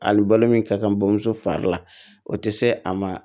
Ani balo min ka kan bamuso fari la o tɛ se a ma